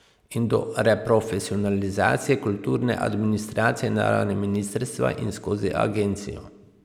In do reprofesionalizacije kulturne administracije na ravni ministrstva in skozi agencijo.